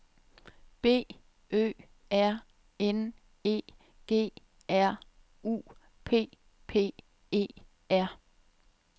B Ø R N E G R U P P E R